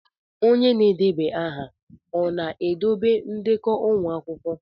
Onye na-edeba aha ọ na-edobe ndekọ ụmụ akwụkwọ?